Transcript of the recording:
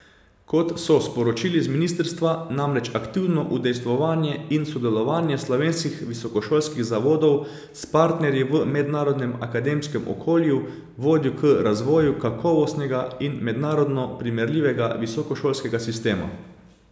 Kot so sporočili z ministrstva, namreč aktivno udejstvovanje in sodelovanje slovenskih visokošolskih zavodov s partnerji v mednarodnem akademskem okolju vodi k razvoju kakovostnega in mednarodno primerljivega visokošolskega sistema.